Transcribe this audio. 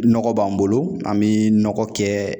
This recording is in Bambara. Nɔgɔ b'an bolo an bi nɔgɔ kɛ